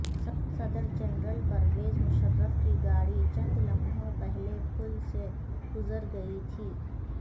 صدر جنرل پرویز مشرف کی گاڑی چند لمحوں پہلے پل سے گزر گئی تھی